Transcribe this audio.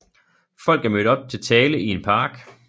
Folk er mødt op til tale i en park